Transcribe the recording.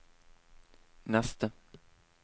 neste